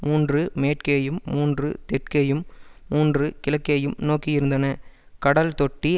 மூன்று மேற்கேயும் மூன்று தெற்கேயும் மூன்று கிழக்கேயும் நோக்கியிருந்தன கடல்தொட்டி